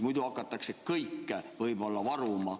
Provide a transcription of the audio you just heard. Muidu hakatakse kõike võib-olla varuma.